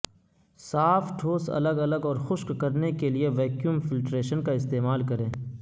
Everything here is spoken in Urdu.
صاف ٹھوس الگ الگ اور خشک کرنے کے لئے ویکیوم فلٹریشن کا استعمال کریں